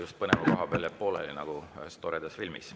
Just põneva koha peal jääb pooleli, nagu ühes toredas filmis.